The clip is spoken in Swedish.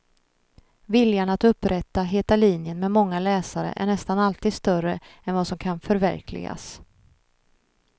Viljan att upprätta heta linjen med många läsare är nästan alltid större än vad som kan förverkligas.